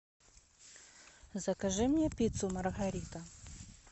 закажи мне пиццу маргарита